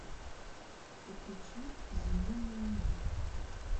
подключи с земли на луну